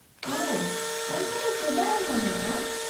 -ᱳᱦᱚ , ᱚᱱᱠᱟ ᱫᱚ ᱪᱮᱫᱟᱜ ᱮᱢ ᱢᱚᱱᱮᱭᱟ ᱟᱢ ?